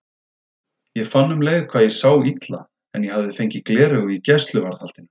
Ég fann um leið hvað ég sá illa en ég hafði fengið gleraugu í gæsluvarðhaldinu.